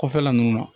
Kɔfɛla ninnu na